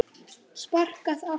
Sparkað aftur.